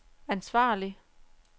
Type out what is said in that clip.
ansvarlig